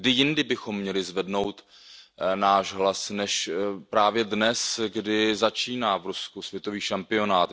Kdy jindy bychom měli zvednout náš hlas než právě dnes, kdy začíná v Rusku světový šampionát.